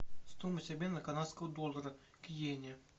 стоимость обмена канадского доллара к йене